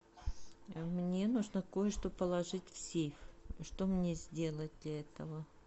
мне нужно кое что положить в сейф что мне сделать для этого